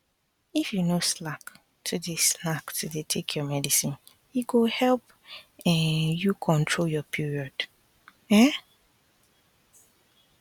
if you no slack to dey slack to dey take your medicine e go help um you control your period um